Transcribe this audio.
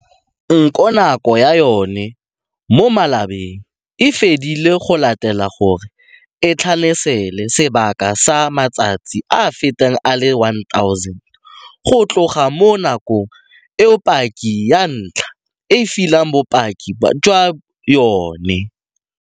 Nko nako ya yona mo malobeng e fedile go latela gore e tlhanasele sebaka sa matsatsi a feta a le 1 000 go tloga mo nakong eo paki ya ntlha e fileng bopaki jwa yona.